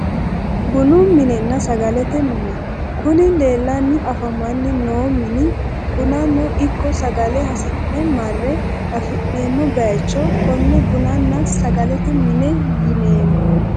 Bunu minenna sagalete mine kuni leellanni afamanni noo mini bunano ikko sagale hasi'ne marre afi'neemmo baycho konne bununna sagalete mine yineemmo